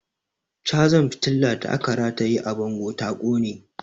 Cazar fitilar da aka rataye a bango ta ƙone